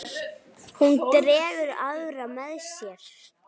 Hún dregur aðra með sér.